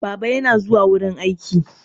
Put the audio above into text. Baba yana zuwa wurin aiki.